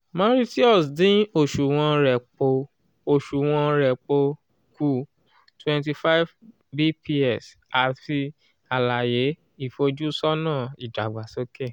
mauritius dín oṣuwọn repo oṣuwọn repo kù 25 bps àti àlàyé ìfojúsọ́nà ìdàgbàsókè